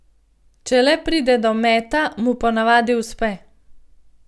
Če le pride do meta, mu ponavadi uspe.